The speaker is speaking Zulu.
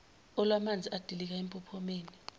okwamanzi edilika empophomeni